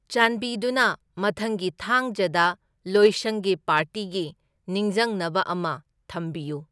ꯆꯥꯟꯕꯤꯗꯨꯨꯅ ꯃꯊꯪꯒꯤ ꯊꯥꯡꯖꯗ ꯂꯣꯏꯁꯪꯒꯤ ꯄꯥꯔꯇꯤꯒꯤ ꯅꯤꯡꯖꯪꯅꯕ ꯑꯃ ꯊꯝꯕꯤꯌꯨ